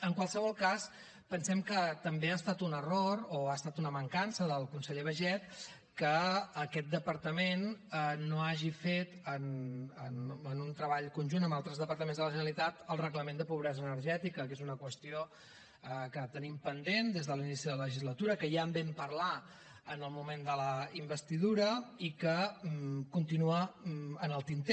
en qualsevol cas pensem que també ha estat un error o ha estat una mancança del conseller baiget que aquest departament no hagi fet en un treball conjunt amb altres departaments de la generalitat el reglament de pobresa energètica que és una qüestió que tenim pendent des de l’inici de la legislatura que ja en vam parlar en el moment de la investidura i que continua en el tinter